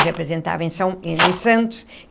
Eu representava em São em Santos.